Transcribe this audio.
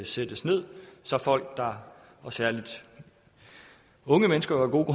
sættes ned så folk og særlig unge mennesker af gode